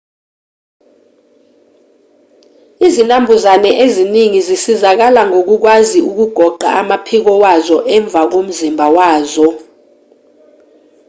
izinambuzane eziningi zisizakala ngokukwazi ukugoqa amaphiko wazo emva komzimba wazo